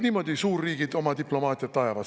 Niimoodi suurriigid oma diplomaatiat ajavad.